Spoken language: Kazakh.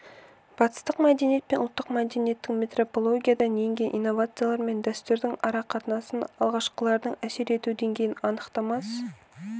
батыстық мәдениет пен ұлттық мәдениеттің метрополиядан енген инновациялар мен дәстүрдің арақатынасын алғашқыларының әсер ету деңгейін анықтамас